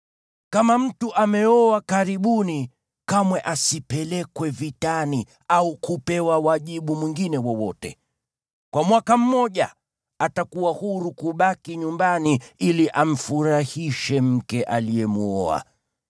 Kama mtu ameoa karibuni, kamwe asipelekwe vitani au kupewa wajibu mwingine wowote. Kwa mwaka mmoja atakuwa huru kubaki nyumbani ili amfurahishe mke aliyemwoa.